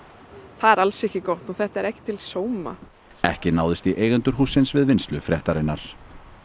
það er alls ekki gott og þetta er ekki til sóma ekki náðist í eigendur hússins við vinnslu fréttarinnar